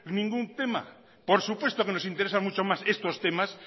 ningún tema por supuesto que nos interesa mucho más estos temas